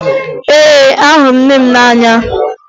Ee, ahụrụ m nne m n'anya